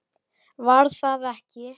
Var það ekki!